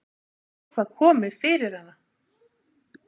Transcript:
Hafði eitthvað komið fyrir hana?